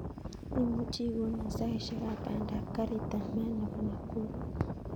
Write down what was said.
Imuchi ikonon saishek ap panda ap karit ap maat nepo nakuru